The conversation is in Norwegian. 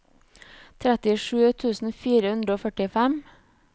trettisju tusen fire hundre og førtifem